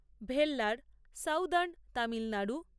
Vellore southern Tamil Nadu